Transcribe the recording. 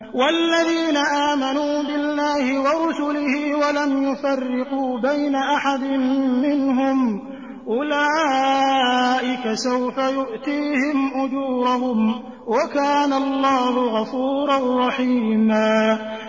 وَالَّذِينَ آمَنُوا بِاللَّهِ وَرُسُلِهِ وَلَمْ يُفَرِّقُوا بَيْنَ أَحَدٍ مِّنْهُمْ أُولَٰئِكَ سَوْفَ يُؤْتِيهِمْ أُجُورَهُمْ ۗ وَكَانَ اللَّهُ غَفُورًا رَّحِيمًا